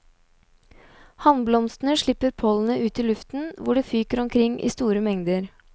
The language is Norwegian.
Hannblomstene slipper pollenet ut i luften, hvor det fyker omkring i store mengder.